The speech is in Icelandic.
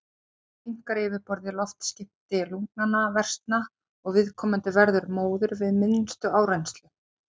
Þá minnkar yfirborðið, loftskipti lungnanna versna og viðkomandi verður móður við minnstu áreynslu.